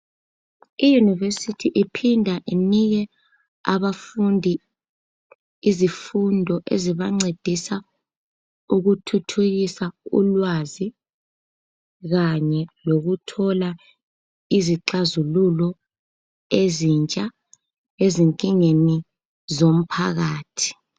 iYunivesithi iphinda inike abafundi izifundo ezibancedisa ukuthuthukisa ulwazi kanye lokuthola izixazululo ezintsha ezinkingeni zomphakathi.